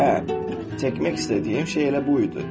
Hə, çəkmək istədiyim şey elə bu idi.